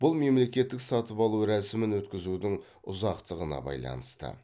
бұл мемлекеттік сатып алу рәсімін өткізудің ұзақтығына байланысты